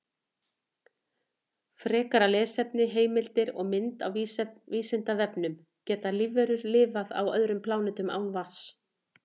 Frekara lesefni, heimildir og mynd á Vísindavefnum: Geta lífverur lifað á öðrum plánetum án vatns?